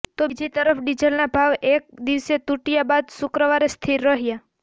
તો બીજી તરફ ડીઝલના ભાવ એક દિવસ તૂટ્યા બાદ શુક્રવારે સ્થિર રહ્યા